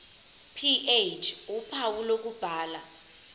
ph uphawu lokubhala